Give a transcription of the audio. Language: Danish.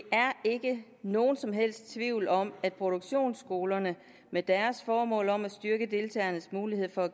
ikke nogen som helst tvivl om at produktionsskolerne med deres formål om at styrke deltagernes mulighed for